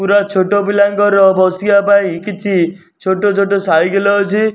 ପୁରା ଛୋଟ ପିଲାଙ୍କର ବସିବା ପାଇଁ କିଛି ଛୋଟ ଛୋଟ ସାଇକେଲ ଅଛି।